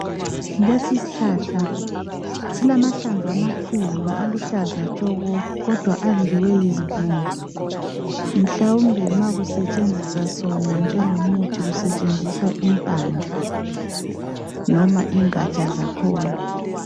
Lesi isihlahla silamahlamvu amakhulu aluhlaza tshoko kodwa adliwe yizibungu mhlawumbe ma kusetshenziswa sona njengomuthi kusetshenziswa impande noma ingatsha zakhona.